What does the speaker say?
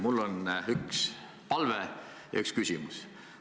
Mul on üks palve ja üks küsimus.